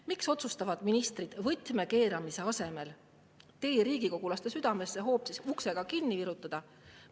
Miks otsustavad ministrid võtme keeramise asemel tee riigikogulaste südamesse hoopis ukse kinnivirutamisega sulgeda?